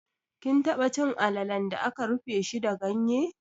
Kin taba cin alalan da aka rufe shi da ganye?